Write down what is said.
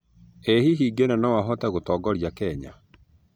Ĩ hĩhĩ Ngĩna no ahote gũtongorĩa Kenya